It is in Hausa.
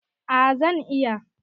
A zan iya